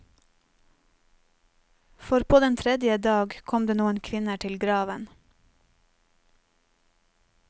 For på den tredje dag kom det noen kvinner til graven.